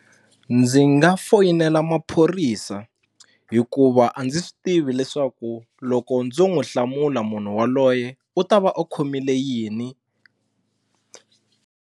Ndzi nga foyinela maphorisa hikuva a ndzi swi tivi leswaku loko ndzo n'wi hlamula munhu waloye u ta va u khomile yini.